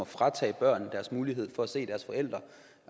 fratager børn muligheden for at se deres forældre